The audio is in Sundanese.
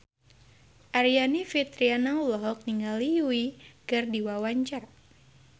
Aryani Fitriana olohok ningali Yui keur diwawancara